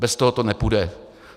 Bez toho to nepůjde.